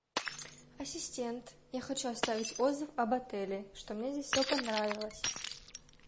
ассистент я хочу оставить отзыв об отеле что мне здесь все понравилось